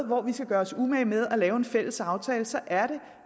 hvor vi skal gøre os umage med at lave en fælles aftale så er det